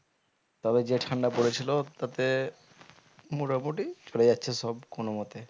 তবে যে ঠান্ডা পড়েছিল তাতে মোটামুটি চলে যাচ্ছে সব কোনো মতে